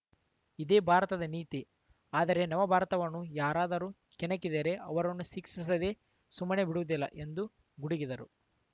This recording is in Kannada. ಇದೇ ಭಾರತದ ನೀತಿ ಆದರೆ ನವಭಾರತವನ್ನು ಯಾರಾದರೂ ಕೆಣಕಿದರೆ ಅವರನ್ನು ಶಿಕ್ಷಿಸದೇ ಸುಮ್ಮನೆ ಬಿಡುವುದಿಲ್ಲ ಎಂದು ಗುಡುಗಿದರು